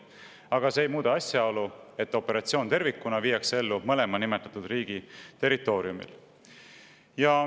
Aga see ei muuda asjaolu, et operatsiooni tervikuna viiakse ellu mõlema nimetatud riigi territooriumil.